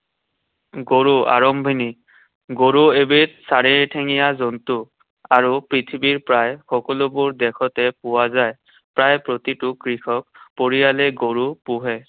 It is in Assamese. গৰু, আৰম্ভণি। গৰু এবিধ চাৰিঠেঙীয়া জন্তু। আৰু পৃথিৱীৰ প্ৰায় সকলোবোৰ দেশতে পোৱা যায়। প্ৰায় প্ৰতিটো কৃষক পৰিয়ালেই গৰু পোহে।